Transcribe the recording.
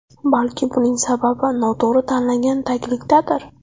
Balki buning sababi noto‘g‘ri tanlangan taglikdadir.